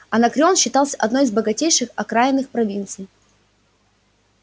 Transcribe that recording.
анакреон считался одной из богатейших окраинных провинций